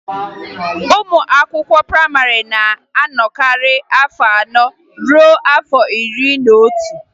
Ụmụ akwụkwọ prayịmarị na-anọkarị n'afọ anọ ruo n'afọ iri n'otu